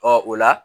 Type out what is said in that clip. o la